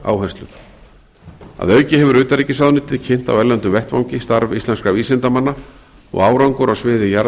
áherslur að auki hefur utanríkisráðuneytið kynnt á erlendum vettvangi starf íslenskra vísindamanna og árangur á sviði